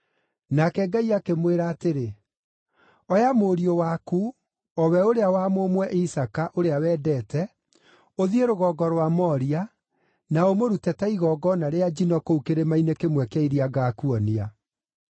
Nake Ngai akĩmwĩra atĩrĩ, “Oya mũriũ waku, o we ũrĩa wa mũmwe Isaaka, ũrĩa wendete, ũthiĩ rũgongo rwa Moria, na ũmũrute ta igongona rĩa njino kuo kĩrĩma-inĩ kĩmwe kĩa iria ngaakuonia.”